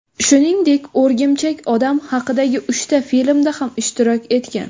Shuningdek, O‘rgimchak odam haqidagi uchta filmda ham ishtirok etgan.